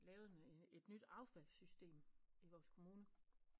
Lavet et nyt affaldssystem i vores kommune